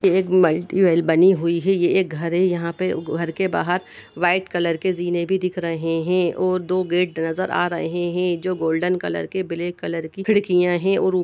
एक मल्टीप्ल बनी हुई है ये घर है यहाँ पर घर के बाहर वाइट कलर के जीने भी दिख रहे हैं और दो गेट नजर आ रहे हैं जो गोल्डन कलर के ब्लैक कलर की खिड़कियाँ हैं और --